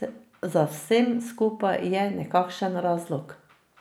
Za vsem skupaj je nekakšen razlog.